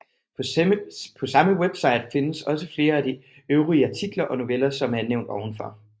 På samme webside findes også flere af de øvrige artikler og noveller som er nævnt ovenfor